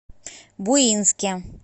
буинске